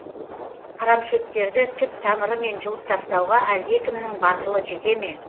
арамшөптерді түп тамырымен жұлыптастауға әлдекімнің батылы жете ме